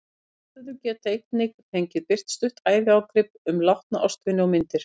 Aðstandendur get einnig fengið birt stutt æviágrip um látna ástvini og myndir.